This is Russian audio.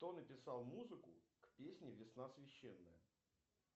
кто написал музыку к песне весна священная